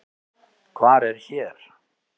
Hvar er hér?